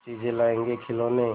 चीजें लाएँगेखिलौने